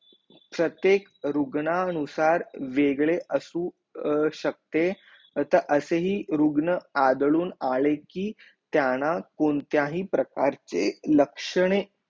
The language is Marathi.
प्रत्येक रुग्ण अनुसार वेग्रे असू शकते त असे ही रुग्ण आदळून आले की त्यांना कोणत्याही प्रकारचे लक्षणे